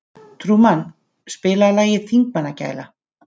Trúmann, spilaðu lagið „Þingmannagæla“.